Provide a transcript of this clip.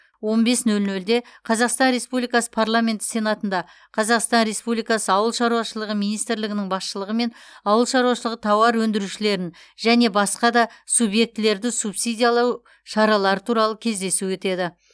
он бес нөл нөлде қазақстан республикасы парламенті сенатында қазақстан республикасы ауыл шаруашылығы министрлігінің басшылығымен ауыл шаруашылығы тауар өндірушілерін және басқа да субъектілерді субсидиялау шаралары туралы кездесу өтеді